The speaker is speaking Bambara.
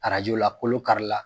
Arajo la kolo kari la.